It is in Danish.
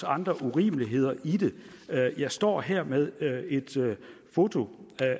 andre urimeligheder i det jeg står her med et foto